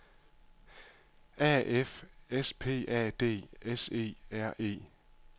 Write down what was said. A F S P A D S E R E